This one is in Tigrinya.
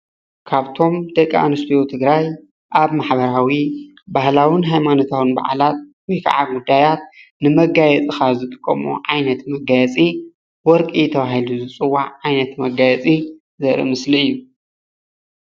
ካብቶም ደቂ ኣነስትዮ ትግራይ ኣብ ማሕበራዊ፣ ባህላዊን ሃይማኖታዊን በዓላት ወይ ከዓ ጉዳያት ንመጋየፂ ካብ ዝጥቀመኦ ዓይነት መጋየፂ ወርቂ ተባሂሉ ዝፅዋዕ ዓይነት መጋየፂ ዘርኢ ምስሊ እዩ፡፡